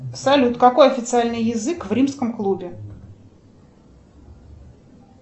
салют какой официальный язык в римском клубе